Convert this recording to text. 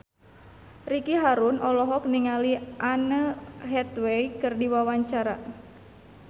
Ricky Harun olohok ningali Anne Hathaway keur diwawancara